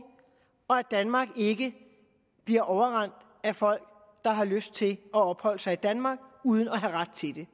og at danmark ikke bliver overrendt af folk der har lyst til at opholde sig i danmark uden at have ret til det